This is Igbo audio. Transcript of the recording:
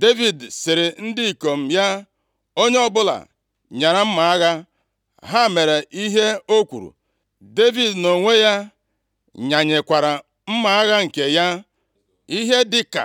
Devid sịrị ndị ikom ya, “Onye ọbụla nyara mma agha! + 25:13 Onye ọbụla kee mma agha ya nʼukwu ya” Ha mere ihe o kwuru. Devid nʼonwe ya nyanyekwara mma agha nke ya. Ihe dị ka